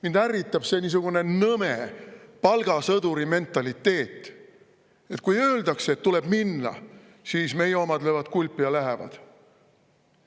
Mind ärritab see niisugune nõme palgasõduri mentaliteet: kui öeldakse, et tuleb minna, siis meie omad löövad kulpi ja lähevad.